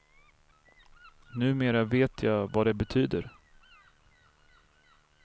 Numera vet jag vad det betyder.